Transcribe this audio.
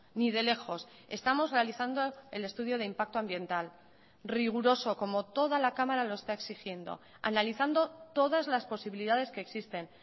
ni de lejos estamos realizando el estudio de impacto ambiental riguroso como toda la cámara lo está exigiendo analizando todas las posibilidades que existen